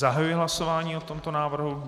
Zahajuji hlasování o tomto návrhu.